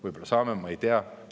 Võib-olla saame, ma ei tea.